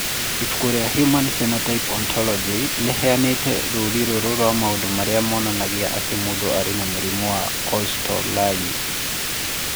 Ibuku rĩa Human Phenotype Ontology rĩheanĩte rũũri rũrũ rwa maũndũ marĩa monanagia atĩ mũndũ arĩ na mũrimũ wa Kosztolanyi.